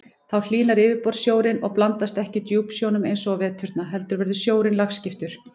Þá hlýnar yfirborðssjórinn og blandast ekki djúpsjónum eins og á veturna heldur verður sjórinn lagskiptur.